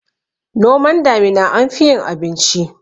noman damina anfi yin abinci